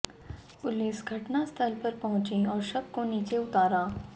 police घटनास्थल पर पहुंची और शव को नीचे उतारा